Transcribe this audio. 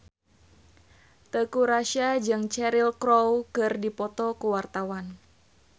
Teuku Rassya jeung Cheryl Crow keur dipoto ku wartawan